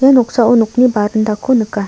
ia noksao nokni barindako nika.